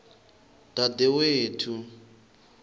dadewethu